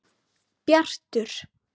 Bjartur